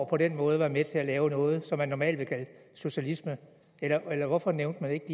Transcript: på den måde er med til at lave noget som man normalt vil kalde socialisme eller hvorfor nævnte man ikke